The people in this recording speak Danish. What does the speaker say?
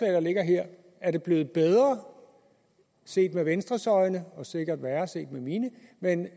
der ligger her er det blevet bedre set med venstres øjne og sikkert værre set med mine end